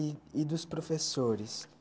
E e dos professores?